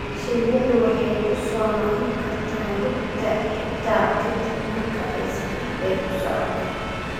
Shinnidu waxay ku soo noqon kartaa rugta xittaa ka dib marka ay safar dheer u socoto.